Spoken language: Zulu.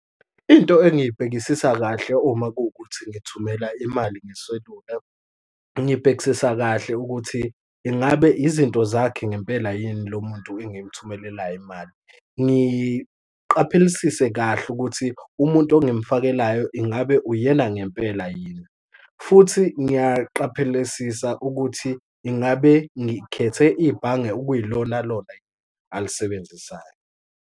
Into engiyibhekisisa kahle uma kuwukuthi ngithumela imali ngeselula, ngibhekisisa kahle ukuthi ingabe izinto zakhe ngempela yini lomuntu engimthumelelayo imali, ngiqaphelisise kahle ukuthi umuntu engumfakelayo ingabe uyena ngempela yini, futhi ngiyaqaphelisisa ukuthi ingabe ngikhethe ibhange okuyilonalona alisebenzisayo.